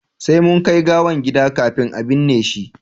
sai mun kai gawan gida kafin a binne shi